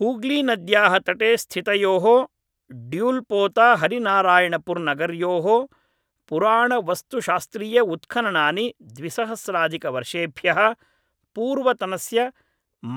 हूग्लीनद्याः तटे स्थितयोः ड्यूल्पोताहरिनारायणपुर्नगरयोः पुराणवस्तुशास्त्रीयउत्खननानि द्विसहस्राधिकवर्षेभ्यः पूर्वतनस्य